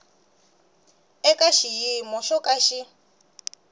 eka xiyimo xo ka xi